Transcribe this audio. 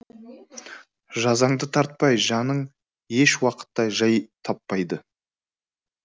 жазаңды тартпай жаның еш уақытта жай таппайды